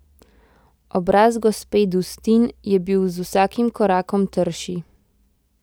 Obraz gospe Dustin je bil z vsakim korakom trši.